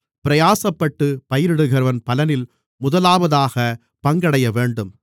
பிரயாசப்பட்டுப் பயிரிடுகிறவன் பலனில் முதலாவதாக பங்கடையவேண்டும்